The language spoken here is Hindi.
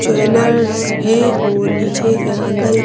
ज्वैलर्स है और नीचे या अंदर--